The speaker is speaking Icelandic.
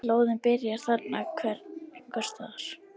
Slóðinn byrjar þarna einhvers staðar.